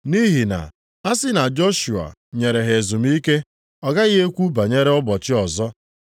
Nʼihi na a sị na Joshua nyere ha ezumike, ọ gaghị ekwu banyere ụbọchị ọzọ.